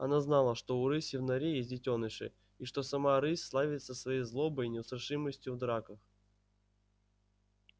она знала что у рыси в норе есть детёныши и что сама рысь славится своей злобой и неустрашимостью в драках